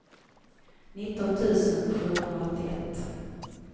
nitton tusen sjuhundraåttioett